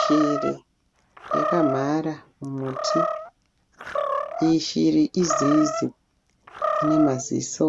Shiri yakamhara muti, iyi shiri izizi inemaziso